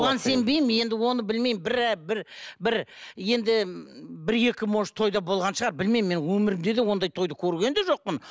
сенбеймін енді оны білмеймін бір ы бір бір енді бір екі может тойда болған шығар білмеймін мен өмірімде де ондай тойды көрген де жоқпын